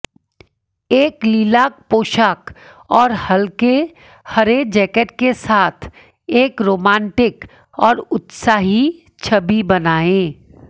एक लिलाक पोशाक और हल्के हरे जैकेट के साथ एक रोमांटिक और उत्साही छवि बनाएं